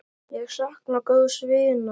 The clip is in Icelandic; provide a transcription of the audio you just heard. Ég sakna góðs vinar.